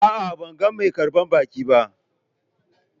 A'a, ban gan mai karban baki ba.